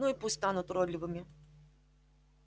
ну и пусть станут уродливыми